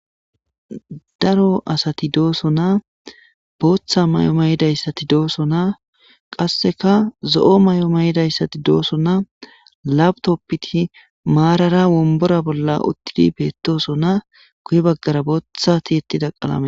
Daro asati de'osona. Botta mayo mayda asati de'osona, qassikka zo'o mayo mayda asati de'osona. Lap-topeti maarara wombbara bolla uttidi be'ettosona, guyye baggaraka botta tiiyetida de'es..